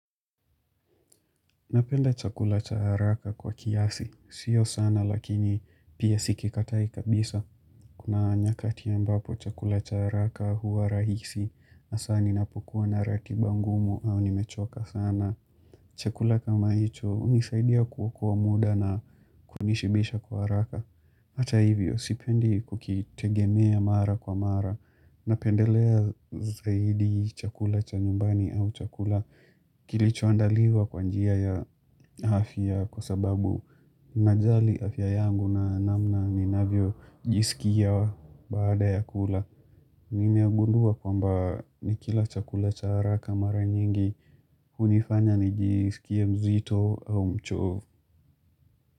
Napenda chakula cha haraka kwa kiasi. Sio sana lakini pia siki katai kabisa. Kuna nyakati ambapo chakula cha haraka hua rahisi hasa ninapokua na ratiba ngumu au nimechoka sana. Chakula kama hicho unisaidia kuokoa muda na kunishibisha kwa haraka. Hata hivyo, sipendi kukitegemea mara kwa mara. Napendelea zaidi chakula cha nyumbani au chakula kilichoandaliwa kwa njia ya afya kwasababu najali afya yangu na namna ninavyo jisikia wa baada ya kula. Nime agundua kwamba ni kila chakula cha haraka mara nyingi unifanya nijisikie mzito au mchovu.